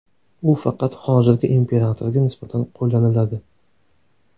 U faqat hozirgi imperatorga nisbatan qo‘llaniladi.